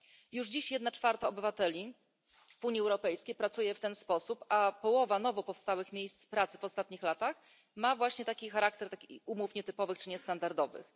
Już dziś jedna czwarta obywateli Unii Europejskiej pracuje w ten sposób, a połowa nowo powstałych miejsc pracy w ostatnich latach ma właśnie charakter takich umów nietypowych czy niestandardowych.